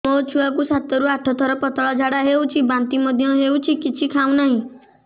ମୋ ଛୁଆ କୁ ସାତ ରୁ ଆଠ ଥର ପତଳା ଝାଡା ହେଉଛି ବାନ୍ତି ମଧ୍ୟ୍ୟ ହେଉଛି କିଛି ଖାଉ ନାହିଁ